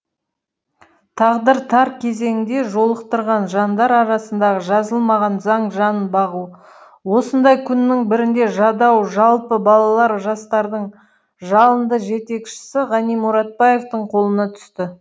тағдыр тар кезеңде жолықтырған жандар арасындағы жазылмаған заң жан бағу осындай күннің бірінде жадау жалпы балалар жастардың жалынды жетекшісі ғани мұратбаевтың қолына түсті